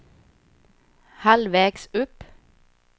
halvvägs upp